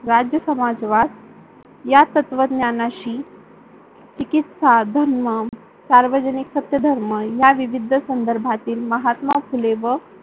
राज्य समाजवाद या तत्त्वज्ञानशी चिकित्सा, धर्म, सार्वजनिक सत्य धर्म या विविध संधार्भातील महात्मा फुले व